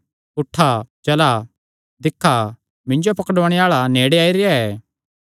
उठा चला दिक्खा मिन्जो पकड़ुआणे आल़ा नेड़े आई रेह्आ ऐ